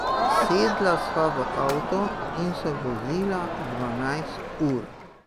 Sedla sva v avto in se vozila dvanajst ur.